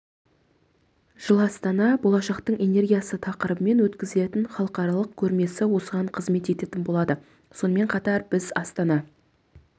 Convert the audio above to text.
жылы астанада болашақтың энергиясы тақырыбымен өткізілетін халықаралық көрмесі осыған қызмет ететін болады сонымен қатар біз астана